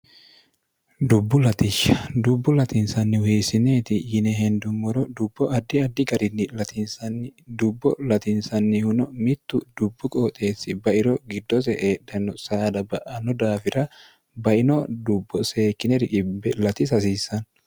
dubbu latishsh dubbu latinsannihu hiessineeti yine hendummoro dubbo addi addi garinni ltinsnni dubbo latinsannihuno mittu dubbu qooxeessi bairo giddose eedhanno saada ba ano daafira baino dubbo seekierli hasiissanno